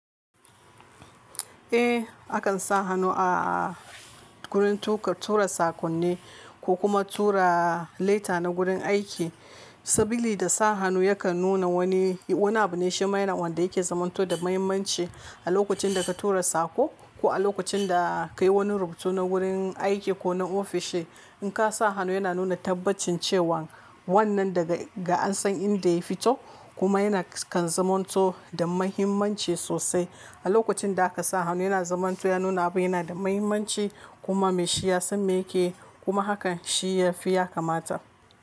Eh, akan sa hannu a-a-a wurin tuka tura saƙonni ko kuma tura laita na gurin aiki. Sabili da sa hannu ya kan nuna wani, wani abu ne shi maina wanda yake zamanto da muhimmanci a lokacin da ka tura saƙo ko a lokacin da ka yi wani rubutu na gurin aiki ko na ofishi. In ka sa hannu yana nuna tabbacin cewan wannan daga ga an san inda ya fito kuma yana kan zamanto da muhimmanci sosai. A lokacin da aka sa hannu yana zamanto ya nuna abu yana da muhimmanci kuma mai shi ya san me yake yi kuma hakan shi ya fi ya kamata.